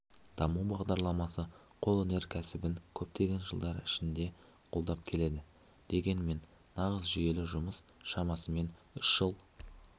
даму бағдарламасы қолөнер кәсібін көптеген жылдар ішінде қолдап келеді дегенмен нағыз жүйелі жұмыс шамасымен үш жыл